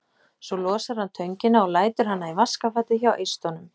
Svo losar hann töngina og lætur hana í vaskafatið hjá eistunum.